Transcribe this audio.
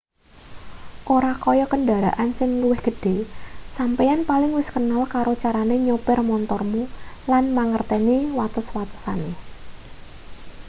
ora kaya kendharaan sing luwih gedhe sampeyan paling wis kenal karo carane nyopir montormu lan mangerteni watesan-watesane